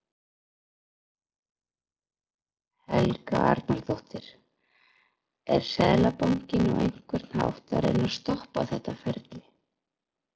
Helga Arnardóttir: Er Seðlabankinn á einhvern hátt að reyna að stoppa þetta ferli?